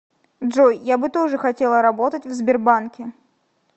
джой я бы тоже хотела работать в сбербанке